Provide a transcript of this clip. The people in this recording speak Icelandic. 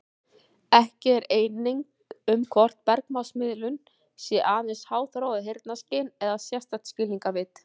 Ekki er eining um hvort bergmálsmiðun sé aðeins háþróað heyrnarskyn eða sérstakt skilningarvit.